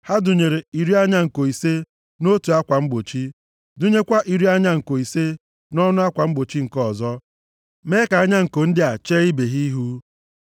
Ha dụnyere iri anya nko ise nʼotu akwa mgbochi, dụnyekwa iri anya nko ise nʼọnụ akwa mgbochi nke ọzọ, mee ka anya nko ndị a chee ibe ha ihu.